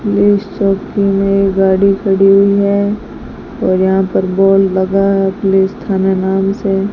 police चौकी में गाड़ी खड़ी है और यहां पर बोर्ड लगा है पुलिस थाना नाम से --